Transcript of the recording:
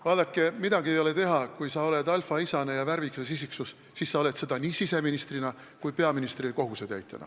Vaadake, midagi ei ole teha, kui sa oled alfaisane ja värvikas isiksus, siis sa oled seda nii siseministrina kui ka peaministri kohusetäitjana.